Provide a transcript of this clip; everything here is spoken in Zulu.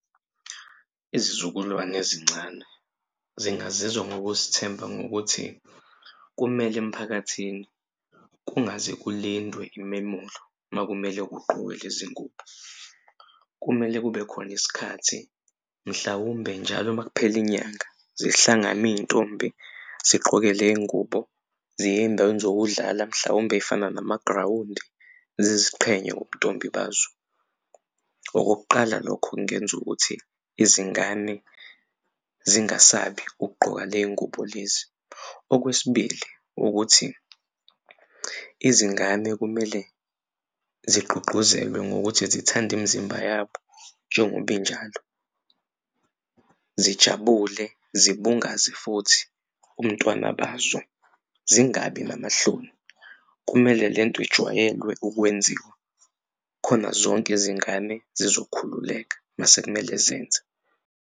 Izizukulwane ezincane singazizwa ngokuzithemba ngokuthi kumele emphakathini kungaze kulindwe imemulo uma kumele kuqokwe lezi ngubo, kumele kube khona isikhathi mhlawumbe njalo uma kuphele inyanga zihlangane iy'ntombi zigqoke le y'ngubo ziye eyindaweni zokudlala mhlawumbe ey'fana namagrawundi ziziqhenya ngobuntombi bazo. Okokuqala lokho kungenza ukuthi izingane zingasabi ukugqoka lezi ngubo lezi. Okwesibili ukuthi izingane kumele zigqugquzelwe ngokuthi zithande imizimba yabo njengoba injalo zijabule zibungaze futhi ubuntwana bazo zingabi namahloni. Kumele le nto ijwayelwe ukwenziwa khona zonke izingane zizokhululeka mase kumele zenze.